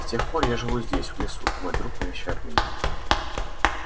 с тех пор я живу здесь в лесу мой друг навещает меня